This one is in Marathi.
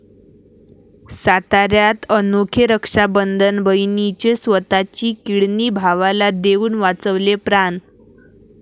साताऱ्यात अनोखे रक्षाबंधन, बहिणीने स्वतःची किडनी भावाला देऊन वाचवले प्राण